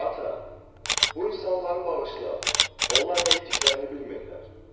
Ata, bu insanları bağışla, onlar nə etdiklərini bilmirlər.